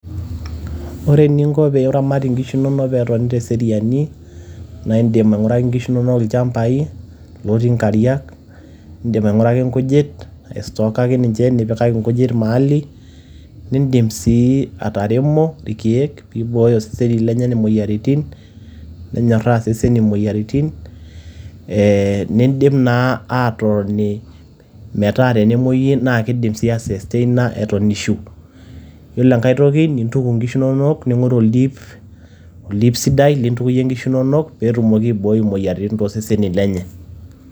Ore eninko piramat inkishu nonok petoni teseriani, na idim aing'uraki inkishu nonok ilchambai lotii nkariak. Idim aing'uraki nkujit, aistokaki ninche nipikaki nkujit maali, nidim si ataremo irkeek pibooyo seseni lenye imoyiaritin, nenyorraa seseni moyiaritin. Eh nidim naa atotoni metaa kidim si aistasteina eton ishu. Yiolo enkae toki nintuku nkishu nonok ning'oru oldiip, oldiip sidai lintukuyie nkishu nonok petumoki aiboi imoyiaritin tosesen lenye.